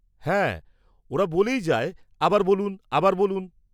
-হ্যাঁ, ওরা বলেই যায় 'আবার বলুন আবার বলুন'।